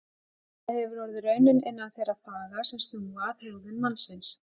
Það hefur orðið raunin innan þeirra faga sem snúa að hegðun mannsins.